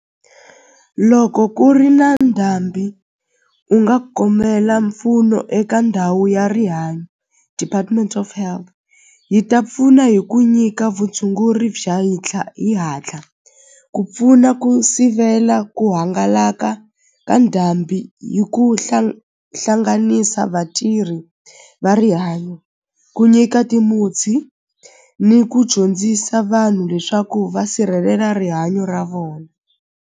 Loko ku ri na ndhambi u nga kombela mpfuno eka ndhawu ya rihanyo department of health yi ta pfuna hi ku nyika vutshunguri bya ti hatla ku pfuna ku sivela ku hangalaka ka ndhambi hi ku hlanganisa vatirhi va rihanyo ku nyika ni ku dyondzisa vanhu leswaku va sirhelela rihanyo ra vona.